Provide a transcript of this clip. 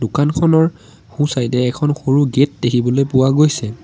দোকানখনৰ সোঁছাইডে এখন সৰু গেট দেখিবলৈ পোৱা গৈছে।